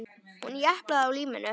Hún japlaði á líminu.